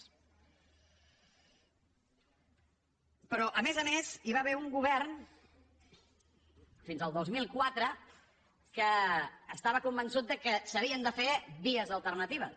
però a més a més hi va haver un govern fins al dos mil quatre que estava convençut que s’havien de fer vies alternatives